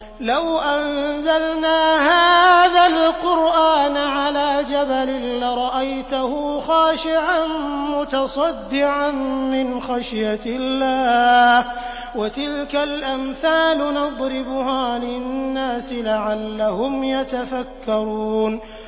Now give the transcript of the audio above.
لَوْ أَنزَلْنَا هَٰذَا الْقُرْآنَ عَلَىٰ جَبَلٍ لَّرَأَيْتَهُ خَاشِعًا مُّتَصَدِّعًا مِّنْ خَشْيَةِ اللَّهِ ۚ وَتِلْكَ الْأَمْثَالُ نَضْرِبُهَا لِلنَّاسِ لَعَلَّهُمْ يَتَفَكَّرُونَ